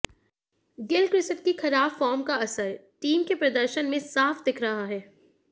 Gilchrist की खराब form का असर टीम के प्रदर्शन में साफ दिख रहा है